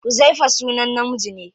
Huzaifa sunan namiji ne.